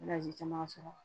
caman sɔrɔ